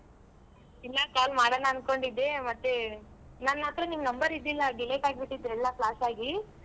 ಇಲ್ಲ call ಮಾಡಣ ಅನ್ಕೊಂಡಿದ್ದೇ ಮತ್ತೆ ನನ್ ಹತ್ರ ನಿನ್ number ಇದ್ದಿಲ್ಲ delete ಆಗ್ಬಿಟಿತ್ ಎಲ್ಲಾ flash ಆಗಿ.